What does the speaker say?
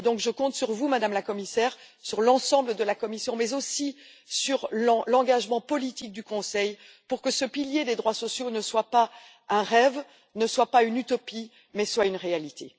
Je compte donc sur vous, Madame la Commissaire, et sur l'ensemble de la Commission, mais aussi sur l'engagement politique du Conseil pour que ce pilier des droits sociaux ne demeure pas un rêve ou une utopie, mais devienne une réalité.